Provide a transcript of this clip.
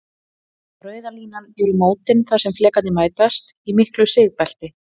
Rauða línan eru mótin þar sem flekarnir mætast, í miklu sigbelti.